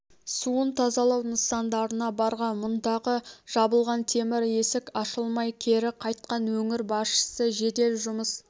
суын тазалау нысандарына барған мұндағы жабылған темір есік ашылмай кері қайтқан өңір басшысы жедел жұмыс